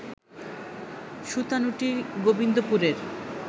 Sutanuti গোবিন্দপুরের